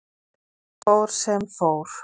Samt fór sem fór.